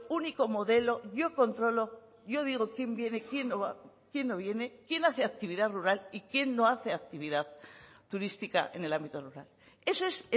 único modelo yo controlo yo digo quién viene quién no viene quién hace actividad rural y quién no hace actividad turística en el ámbito rural eso es